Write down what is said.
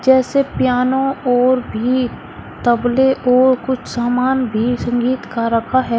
जैसे पियानो और भी तबले और कुछ सामान भी संगीत का रखा है।